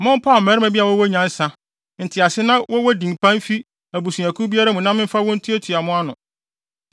Mompaw mmarima bi a wɔwɔ nyansa, ntease na wɔwɔ din pa mfi abusuakuw biara mu na memfa wɔn ntuatua mo ano.”